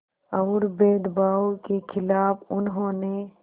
और भेदभाव के ख़िलाफ़ उन्होंने